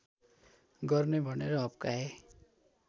गर्ने भनेर हप्काए